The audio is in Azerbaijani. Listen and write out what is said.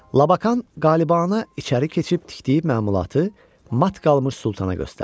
Labakan qəlibanə içəri keçib tikdiyi məmulatı mat qalmış Sultana göstərdi.